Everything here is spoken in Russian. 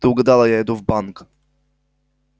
ты угадала я иду в банк